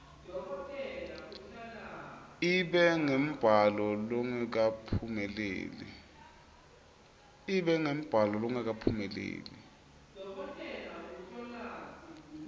ibe ngumbhalo longakaphumeleli